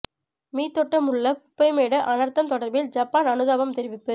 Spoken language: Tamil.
மீத்தொட்டமுல்ல குப்பை மேடு அனர்த்தம் தொடர்பில் ஜப்பான் அனுதாபம் தெரிவிப்பு